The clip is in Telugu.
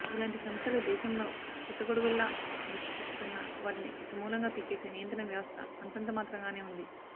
ఇలాంటి సంస్థలు దేశంలో పుట్టగొడుగుల్లా మొలుచుకొస్తున్నా వాటిని సమూలంగా పీకేసే నియంత్రణ వ్యవస్థ అంతంతమాత్రంగానే ఉంది